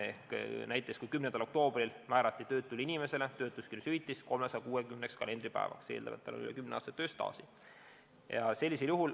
Näiteks kui 10. oktoobril määrati töötule inimesele töötuskindlustushüvitist 360 kalendripäevaks, eeldades, et tal on üle kümne aasta tööstaaži.